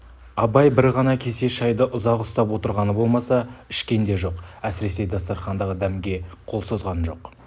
абай бір ғана кесе шайды ұзақ ұстап отырғаны болмаса ішкен де жоқ әсіресе дастарқандағы дәмге қол созған жоқ